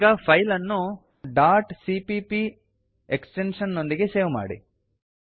ಈಗ ಫೈಲ್ ಅನ್ನು dot CPP CPP extension ನೊಂದಿಗೆ ಸೇವ್ ಮಾಡಿ